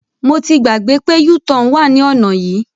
Mo ti gbàgbé pé u-turn wà ní ọ̀nà yìí.